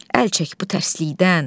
Əl çək bu tərsilikdən.